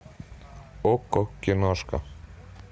окко киношка